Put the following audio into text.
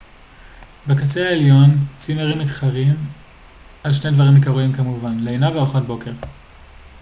בקצה העליון צימרים מתחרים על שני דברים עיקריים כמובן לינה וארוחת בוקר